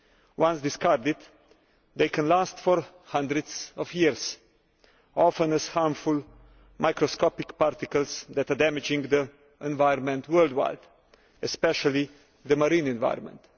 Once discarded, they can last for hundreds of years, often as harmful microscopic particles that are damaging to the environment worldwide, and especially the marine environment.